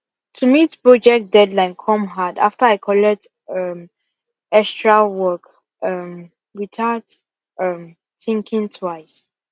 to meet project deadline come hard after i collect um extra work um without um thinking twice